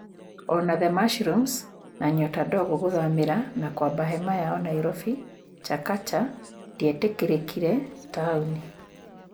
O na The mushrooms na Nyota Ndogo gũthamĩra na kũamba hema yao Nairobi Chakacha ndĩetĩkĩrĩkire taoni.